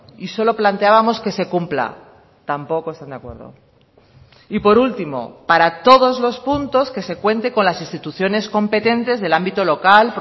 y solo planteábamos que se cumpla tampoco están de acuerdo y por último para todos los puntos que se cuente con las instituciones competentes del ámbito local